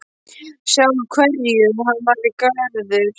Sjá úr hverju hann væri gerður.